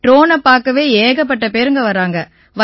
ட்ரோனைப் பாக்கவே ஏகப்பட்ட பேருங்க வராங்க